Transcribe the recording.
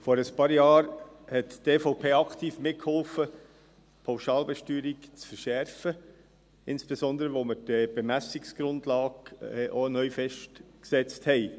Vor ein paar Jahren half die EVP aktiv mit, die Pauschalbesteuerung zu verschärfen, insbesondere auch, als wir die Bemessungsgrundlage neu festsetzten.